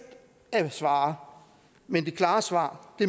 at svare men det klare svar